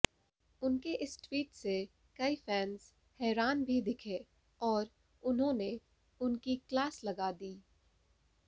उनके इस ट्वीट से कई फैंस हैरान भी दिखे और उन्होंने उनकी क्लास लगा दी